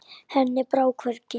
Henni brá hvergi.